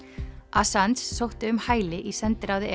assange sótti um hæli í sendiráði